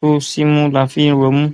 tó símú la fi ń rọmú